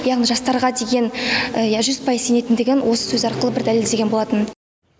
яғни жастарға деген жүз пайыз сенетіндігін осы сөзі арқылы бір дәлелдеген болатын